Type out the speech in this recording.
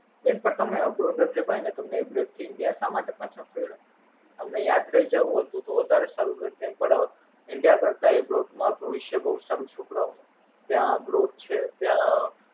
બેન પણ તમારે Abroad જ રેવાઈ ને Abroad થી India શામાટે પાછા ફર્યા? તમારે યાત્રા એ જાવું હતું તો વધારે સારું હતું એમ પણ India કરતા Abroid માં ભવિસ્ય બોવ સારું છે છોકરાઓ નું ત્યાં Growth છે ત્યાં.